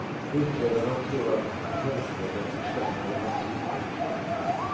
Utredarna tror att potensmedlet försämrade hans syn.